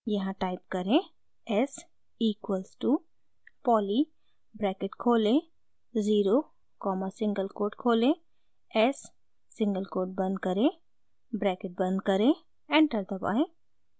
यहाँ टाइप करें s equals to poly bracket खोलें ज़ीरो कॉमा सिंगल कोट खोलें s सिंगल कोट बंद करें ब्रैकेट बंद करें एंटर दबाएं